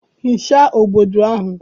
Hichaa bọọdụ ahụ